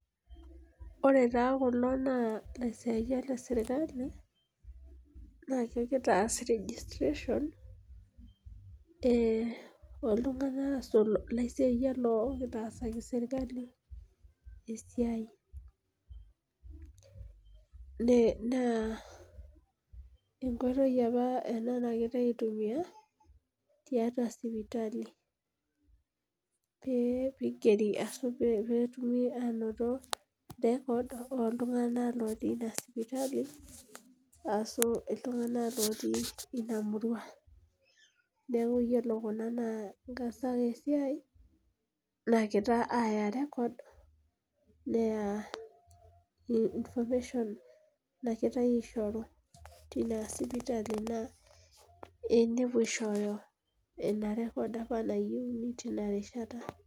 Ore taa kulo naa ilaisiyiak le sirkali. naa kegira aas registration ooltunganak ilaisiyiak le sirkali esiai. naa enkoitoi apa ena, nagirae aitumia tiatua sipitali .pee igeri pee etumi aanoto records ooltunganak lotii Ina sipitali ashu iltunganak otii Ina murua Neeku ore Kuna naa nkaasak esiai naagira aaya information nagirae aishoru. tina sipitali naa nepuo aishooyo ina record apa nayieuni tina rishata.